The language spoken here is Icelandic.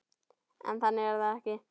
En þannig er þetta ekki.